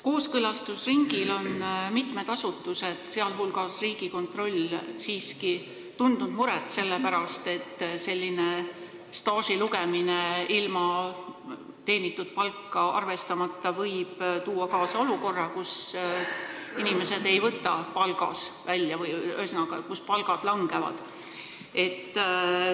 Kooskõlastusringil on mitu asutust, sh Riigikontroll, tundnud muret selle pärast, et selline staaži lugemine ilma teenitud palka arvestamata võib tuua kaasa olukorra, kus inimesed ei võta kogu töötasu palgas välja.